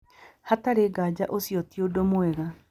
Hatarĩ nganja ũcio ti ũndũ mwega".